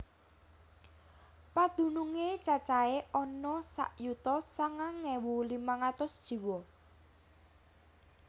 Padunungé cacahé ana sak yuta sangang ewu limang atus jiwa